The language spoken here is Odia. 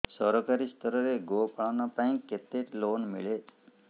ସରକାରୀ ସ୍ତରରେ ଗୋ ପାଳନ ପାଇଁ କେତେ ଲୋନ୍ ମିଳେ